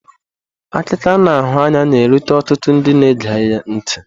Akụkọ a na-ahụ anya na-erute ọtụtụ ndị na-ege ntị.